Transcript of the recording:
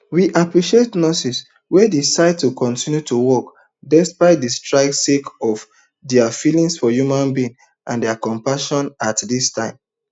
we appreciate nurses wey decide to continue to work despite di strike sake of dia feeling for human being and dia compassion at dis time